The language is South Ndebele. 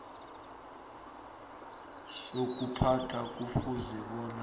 sokuphatha kufuze bona